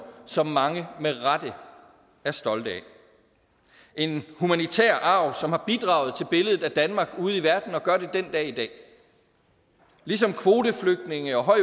som mange med rette er stolte af en humanitær arv som har bidraget til billedet af danmark ude i verden og gør det den dag i dag ligesom kvoteflygtninge og høj